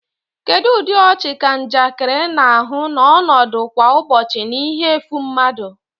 Kedu ụdị ọchị ka njakịrị na-ahụ na ọnọdụ kwa ụbọchị na ihe efu mmadụ?